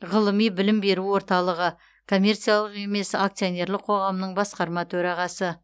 ғылыми білім беру орталығы коммерциялық емес акционерлік қоғамның басқарма төрағасы